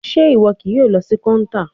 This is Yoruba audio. Ṣe iwọ kii yoo lọ si counter?